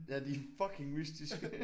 Ja de er fucking mystiske